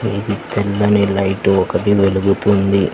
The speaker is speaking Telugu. ఇది తెల్లని లైట్టు ఒకటి వెలుగుతుంది.